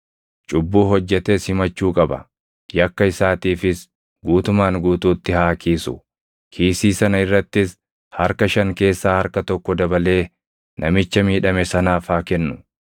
cubbuu hojjetes himachuu qaba. Yakka isaatiifis guutumaan guutuutti haa kiisu. Kiisii sana irrattis harka shan keessaa harka tokko dabalee namicha miidhame sanaaf haa kennu.